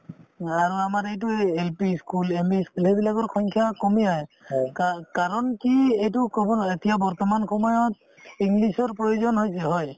আৰু আমাৰ এইটোয়ে এই LP ই school ME ই school সেইবিলাকৰ সংখ্যা কমি আহে কা~ কাৰণ কি এইটো ক'ব নোৱাৰি এতিয়া বৰ্তমান সময়ত english ৰ প্ৰয়োজন হৈছে হয়